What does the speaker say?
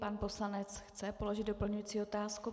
Pan poslanec chce položit doplňující otázku.